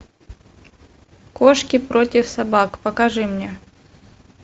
кошки против собак покажи мне